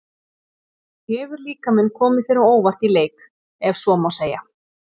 Hefur líkaminn komið þér á óvart í leik, ef svo má segja?